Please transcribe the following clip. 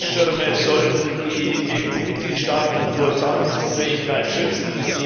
Die Rettungsschirme sollten die EU Mitgliedstaaten vor Zahlungsunfähigkeit schützen.